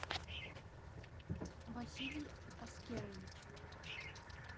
василий аскерович